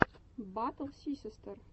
батл сисиси стор